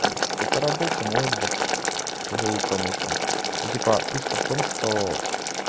вот какой-то рабочий может быть тяжёлую промышленность ну типа фишка в том что